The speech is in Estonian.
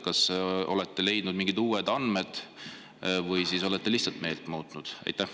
Kas olete leidnud mingeid uued andmed või olete lihtsalt meelt muutnud?